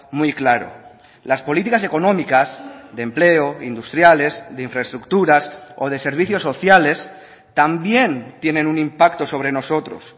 muy claro las políticas económicas de empleo industriales de infraestructuras o de servicios sociales también tienen un impacto sobre nosotros